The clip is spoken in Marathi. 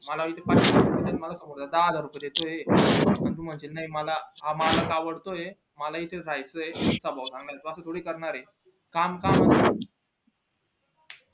मला इथे दहा हजार रुपये देतोय तू म्हणतो नई मला हा मालक आवडतो ये मला इथे चा राहायचंय मी करणार नई किव्हा चोरी करणार ये काम काम असत